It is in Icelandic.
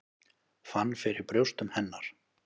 Fann fyrir brjóstum hennar.